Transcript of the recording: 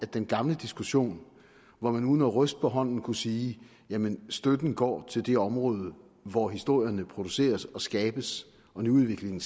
den gamle diskussion hvor man uden at ryste på hånden kunne sige jamen støtten går til det område hvor historierne produceres og skabes og nyudviklingen